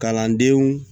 Kalandenw